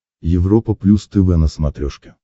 европа плюс тв на смотрешке